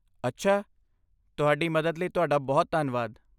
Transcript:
ਅੱਛਾ, ਤੁਹਾਡੀ ਮਦਦ ਲਈ ਤੁਹਾਡਾ ਬਹੁਤ ਧੰਨਵਾਦ।